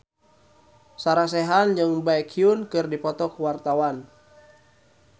Sarah Sechan jeung Baekhyun keur dipoto ku wartawan